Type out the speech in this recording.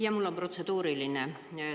Jaa, mul on protseduuriline.